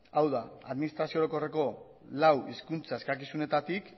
hau da administrazio orokorreko lau hizkuntza eskakizunetatik